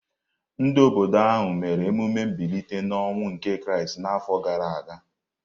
Ndị obodo ahụ mere emume mbilite n’ọnwụ nke Kraịst n’afọ gara aga.